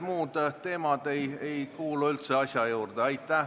Muud teemad ei kuulu üldse asja juurde.